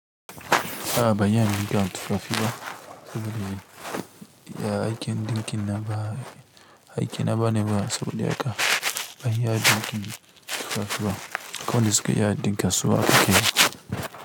A'a ba yana yin hakan tufafi ba saboda ya aikin ɗinkin na ba aikin abane ba saboda haka ba ya ɗinkin tufafi ba kawai suka yi ɗinki kasuwa kake yi.